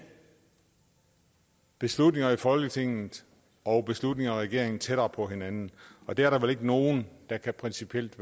beslutninger i folketinget og beslutninger i regeringen tættere på hinanden og det er der vel ikke nogen der principielt